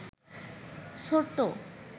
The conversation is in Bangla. ছোট্ট